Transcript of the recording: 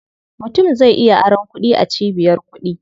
Mutum zai iya aron kuɗi a cibiyar kuɗi.